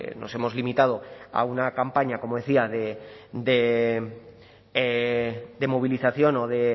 nos hemos limitado a una campaña como decía de movilización o de